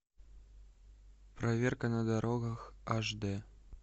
проверка на дорогах аш дэ